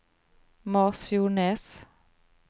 Masfjordnes